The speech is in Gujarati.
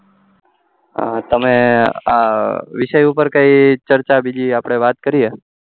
હમ તમે આ વિશે ઉપર ચર્ચા કઈ બીજી આપડે વાત કરીએ